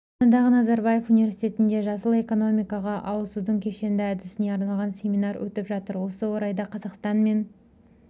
астанадағы назарбаев университетінде жасыл экономикаға ауысудың кешенді әдісіне арналған семинар өтіп жатыр осы орайда қазақстан мен